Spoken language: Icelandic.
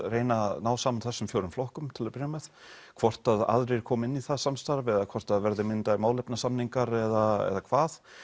reyna að ná saman þessum fjórum flokkum til að byrja með hvort aðrir komi inn í það samstarf eða hvort það verði myndaðir eða hvað